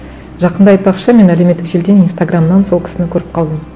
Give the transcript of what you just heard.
жақында айтпақшы мен әлеуметтік желіден инстаграмнан сол кісіні көріп қалдым